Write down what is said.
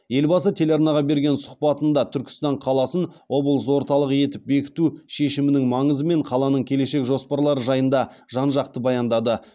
елбасы телеарнаға берген сұхбатында түркістан қаласын облыс орталығы етіп бекіту шешімінің маңызы мен қаланың келешек жоспарлары жайында жан жақты баяндады